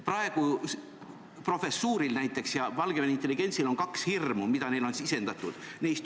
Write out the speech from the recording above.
Praegu on näiteks Valgevene intelligentsil kaks hirmu, mida neile on sisendatud.